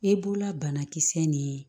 I b'ula banakisɛ nin ye